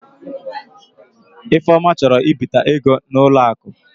Ifeoma chọrọ ịbita ego n'ụlọ akụ.